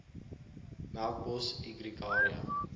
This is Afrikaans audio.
melkbos e gregaria